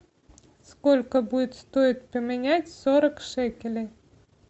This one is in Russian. сколько будет стоить поменять сорок шекелей